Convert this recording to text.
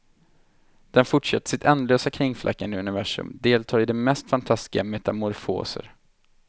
Den fortsätter sitt ändlösa kringflackande i universum, deltar i de mest fantastiska metamorfoser.